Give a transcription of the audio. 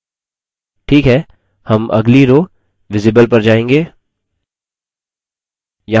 ठीक है हम अगली rowvisible पर जाएँगे